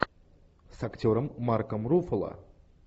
с актером марком руффало